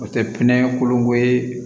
O tɛ pinɛ kolonko ye